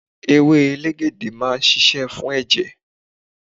Ewé elegede máa ń ṣíṣe fún ẹ̀jẹ̀.